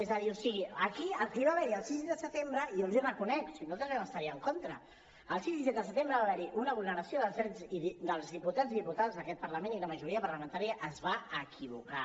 és a dir o sigui aquí el que va haver hi el sis de setembre jo els hi reconec si nosaltres també vam estar hi en contra el sis i set de setembre va haver hi una vulneració dels drets dels diputats i diputades d’aquest parlament i la majoria parlamentària es va equivocar